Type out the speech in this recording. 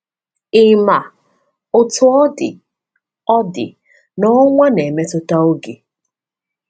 Ị̀ ma, Otú ọ dị, ọ dị, na ọnwa na-emetụta oge?